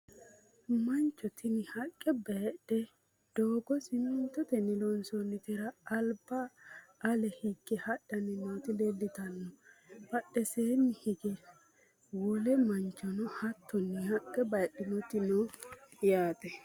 Mancho tinni haqee bayiidhe doogo simintottenni loonsoonitera alibba ale higge hadhanni nootti leelittanno. badheesiinni hige wole manchonno hattonni haqqe bayiidhinnotti noo yaatte